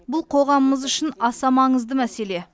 бұл қоғамымыз үшін аса маңызды мәселе